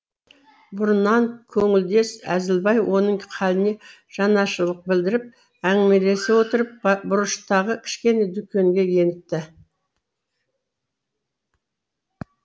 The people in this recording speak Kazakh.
бұрыннан көңілдес әзілбай оның халіне жанашырлық білдіріп әңгімелесе отырып бұрыштағы кішкене дүкенге еніпті